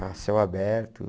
A céu aberto.